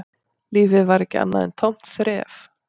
Lífið var ekki annað en tómt þref